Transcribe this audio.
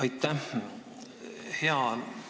Aitäh!